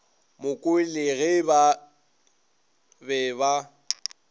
mokwele ge ba be ba